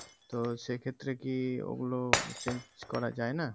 তো সেই ক্ষেত্রে কি ওগুলো change করা যায় না?